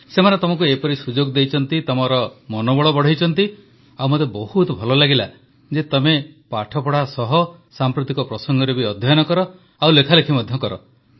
ସେମାନେ ତମକୁ ଏପରି ସୁଯୋଗ ଦେଇଛନ୍ତି ତମ ମନୋବଳ ବଢ଼ାଇଛନ୍ତି ଆଉ ମୋତେ ବହୁତ ଭଲ ଲାଗିଲା ଯେ ତମେ ପାଠପଢ଼ା ସହ ସାମ୍ପ୍ରତିକ ପ୍ରସଙ୍ଗରେ ବି ଅଧ୍ୟୟନ କର ଓ ଲେଖାଲେଖି ମଧ୍ୟ କର